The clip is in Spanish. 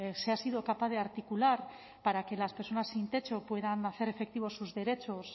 se ha sido capaz de articular para que las personas sin techo puedan hacer efectivos sus derechos